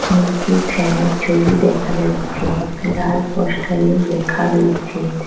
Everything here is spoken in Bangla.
নীচে ফ্যানের ছবি দেখা যাচ্ছে লাল পোস্টারে লেখা রয়েছে--